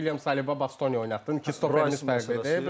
Sən William Saliba Bastoni oynatdın, iki stoperimiz fərqlidir.